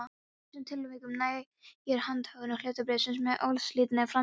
Í þessum tilvikum nægir handhöfn hlutabréfsins með óslitinni framsalsröð.